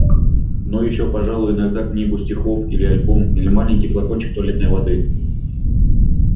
ну ещё пожалуй иногда книгу стихов или альбом или маленький флакончик туалетной воды